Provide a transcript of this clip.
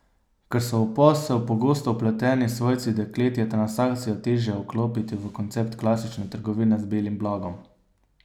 Ker so v posel pogosto vpleteni svojci deklet, je transakcijo težje vklopiti v koncept klasične trgovine z belim blagom.